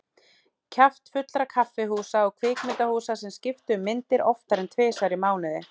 Kjaftfullra kaffihúsa og kvikmyndahúsa sem skiptu um myndir oftar en tvisvar í mánuði.